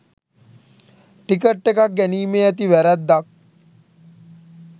ticket එකක් ගැනීමේ ඇති වැරද්දක්